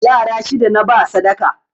Yara shida naba sadaka